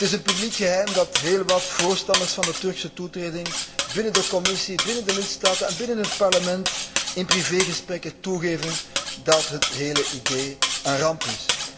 Het is een publiek geheim dat heel wat voorstanders van de Turkse toetreding binnen de Commissie, binnen de lidstaten en binnen het Parlement in privégesprekken toegeven dat het hele idee een ramp is.